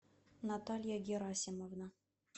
наталья герасимовна